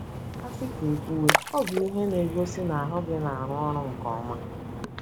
A sị ka e kwuwe, ọ bụ ihe na-egosi na ahụ gị na-arụ ọrụ nke ọma.